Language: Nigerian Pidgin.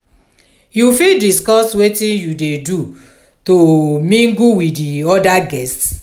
you fit discuss witin you dey do to mingle with di oda guests?